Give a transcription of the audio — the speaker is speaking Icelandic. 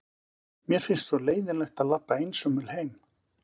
Mér finnst svo leiðinlegt að labba einsömul heim.